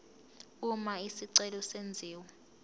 uma isicelo senziwa